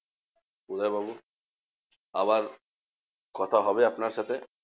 উদয়বাবু আবার কথা হবে আপনার সাথে।